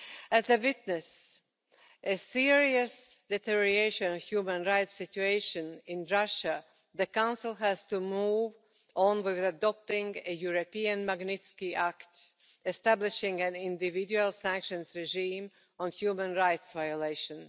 As we witness serious deterioration in the human rights situation in Russia, the Council has to move on with adopting a European Magnitsky Act, establishing an individual sanctions regime for human rights violations.